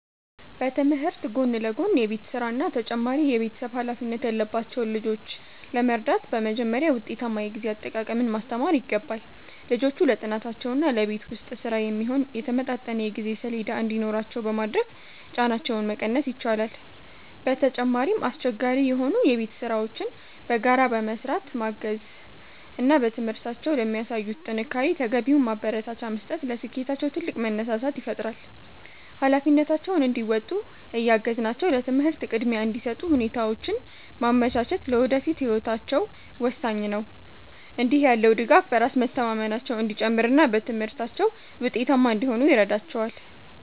በትምህርት ጎን ለጎን የቤት ሥራና ተጨማሪ የቤተሰብ ኃላፊነት ያለባቸውን ልጆች ለመርዳት በመጀመሪያ ውጤታማ የጊዜ አጠቃቀምን ማስተማር ይገባል። ልጆቹ ለጥናታቸውና ለቤት ውስጥ ሥራ የሚሆን የተመጣጠነ የጊዜ ሰሌዳ እንዲኖራቸው በማድረግ ጫናቸውን መቀነስ ይቻላል። በተጨማሪም፣ አስቸጋሪ የሆኑ የቤት ሥራዎችን በጋራ በመሥራት ማገዝ እና በትምህርታቸው ለሚያሳዩት ጥንካሬ ተገቢውን ማበረታቻ መስጠት ለስኬታቸው ትልቅ መነሳሳት ይፈጥራል። ኃላፊነታቸውን እንዲወጡ እያገዝናቸው ለትምህርት ቅድሚያ እንዲሰጡ ሁኔታዎችን ማመቻቸት ለወደፊት ህይወታቸው ወሳኝ ነው። እንዲህ ያለው ድጋፍ በራስ መተማመናቸው እንዲጨምርና በትምህርታቸው ውጤታማ እንዲሆኑ ይረዳቸዋል።